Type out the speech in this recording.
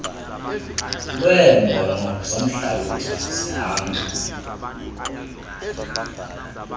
lweembono zomhlalutyi zihamba